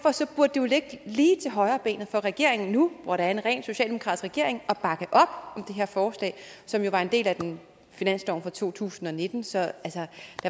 det jo ligge lige til højrebenet for regeringen nu hvor der er en rent socialdemokratisk regering at bakke op om det her forslag som jo var en del af finansloven for to tusind og nitten så der